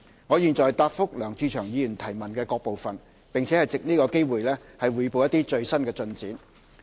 我現答覆梁志祥議員質詢的各部分，並藉此機會匯報一些最新進展。